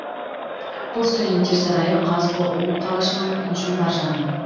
бұл студенттер сарайы қазұу қалашығының інжу маржаны